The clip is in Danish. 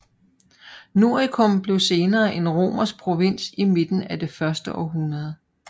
Noricum blev senere en romersk provins i midten af det første århundrede